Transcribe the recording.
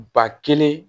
Ba kelen